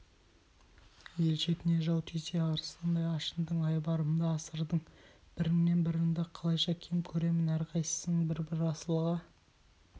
ел шетіне жау тисе арыстандай ашындың айбарымды асырдың біріңнен біріңді қалайша кем көремін әрқайсыңды бір-бір асылға